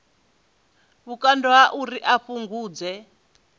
vhukando ha uri a fhungudze